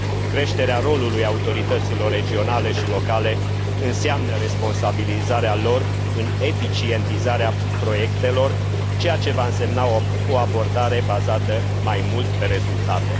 Creșterea rolului autorităților regionale și locale înseamnă responsabilizarea lor în eficientizarea proiectelor, ceea ce va însemna o abordare bazată mai mult pe rezultate.